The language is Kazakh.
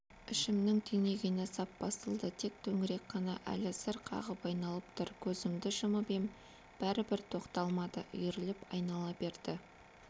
ішімнің түйнегені сап басылды тек төңірек қана әлі зыр қағып айналып тұр көзімді жұмып ем бәрібір тоқталмады үйіріліп айнала берді